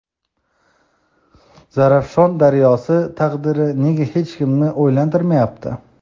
Zarafshon daryosi taqdiri nega hech kimni o‘ylantirmayapti?.